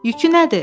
Yükü nədir?